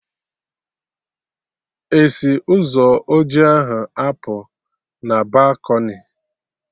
Esi Ụzọ oji ahụ apụ na balkọnị?